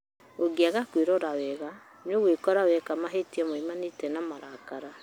ũngĩaga kwĩrora wega nĩũgwĩkora weka mahĩtĩa maumanĩte na marakara